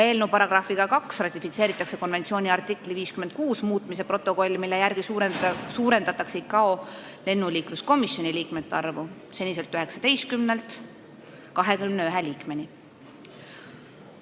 Eelnõu §-ga 2 ratifitseeritakse konventsiooni artikli 56 muutmise protokoll, millega suurendatakse ICAO lennuliikluskomisjoni liikmete arvu 19-lt 21-ni.